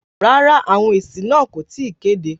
Rárá, àwọn èsì náà kò tí ì kéde.